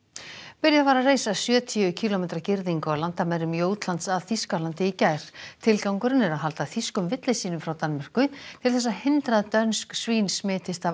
byrjað var að reisa sjötíu kílómetra girðingu á landamærum Jótlands að Þýskalandi í gær tilgangurinn er að halda þýskum villisvínum frá Danmörku til þess að hindra að dönsk svín smitist af